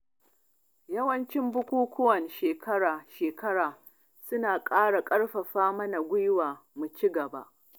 Yawancin bukukwan shekara-shekara suna ƙara ƙarfafa mana gwiwa mu ci gaba.